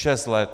Šest let.